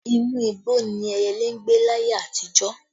Inú igbó ni ẹyẹlé ń gbé láyé àtijó